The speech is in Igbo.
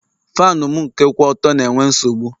Faanụ m nke kwụ ọtọ na-enwe nsogbụ